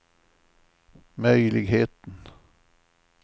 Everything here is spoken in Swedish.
möjligheten